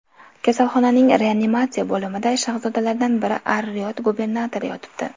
Kasalxonaning reanimatsiya bo‘limida shahzodalardan biri Ar-Riyod gubernatori yotibdi.